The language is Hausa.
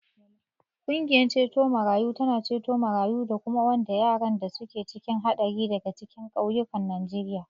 Ƙungiyar ceto marayu tana ceto marayu da kuma wanda yaran da suke cikin haɗari daga cikin ƙauyukan Najeriya.